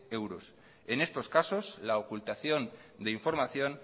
euros en estos casos la ocultación de información